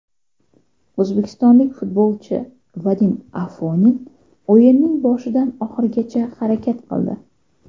O‘zbekistonlik futbolchi Vadim Afonin o‘yinning boshidan oxirigacha harakat qildi.